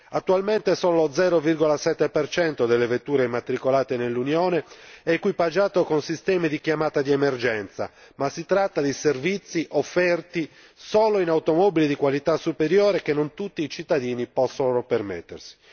Attualmente, solo lo 0,7 delle vetture immatricolate nell'Unione è equipaggiato con sistemi di chiamata di emergenza, ma si tratta di servizi offerti solo in automobili di qualità superiore che non tutti i cittadini possono permettersi.